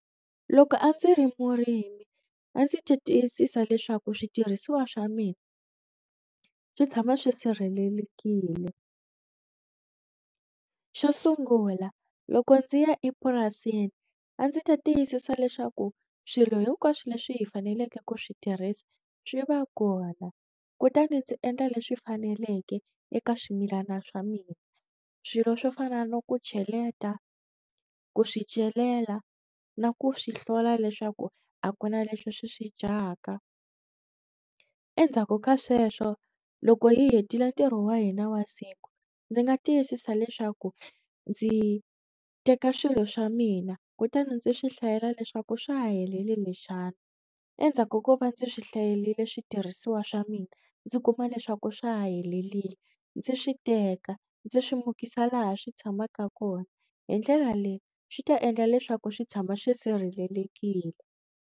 Loko a ndzi ri murimi a ndzi ta tiyisisa leswaku switirhisiwa swa mina swi tshama swi sirhelelekile xo sungula loko ndzi ya epurasini a ndzi ta tiyisisa leswaku swilo hinkwaswo leswi hi faneleke ku swi tirhisa swi va kona kutani ndzi endla leswi faneleke eka swimilana swa mina swilo swo fana no ku cheleta ku swi celela na ku swi hlola leswaku a ku na leswi swi swi dyaka endzhaku ka sweswo loko hi hetile ntirho wa hina wa siku ndzi nga tiyisisa leswaku ndzi teka swilo swa mina kutani ndzi swi hlayela leswaku swa ha helelini xana endzhaku ko va ndzi swi hlayelile switirhisiwa swa mina ndzi kuma leswaku swa ha helelile ndzi swi teka ndzi swi mukisa laha swi tshamaka kona hi ndlela leyi swi ta endla leswaku swi tshama swi sirhelelekile.